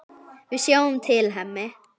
Við sjáum til, Hemmi.